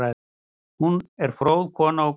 Hún var fróð kona og góð.